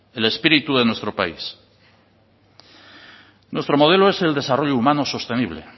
el espíritu de nuestro país nuestro modelo es el desarrollo humano sostenible